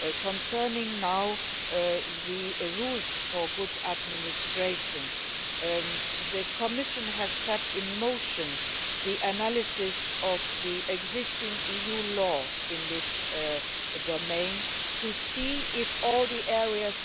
Concerning now the rules for good administration, the Commission has set in motion the analysis of the existing EU law in this domain, to see if all the areas